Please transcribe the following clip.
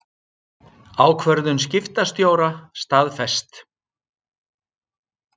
Ákvörðun skiptastjóra staðfest